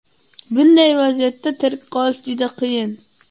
bunday vaziyatda tirik qolish juda qiyin.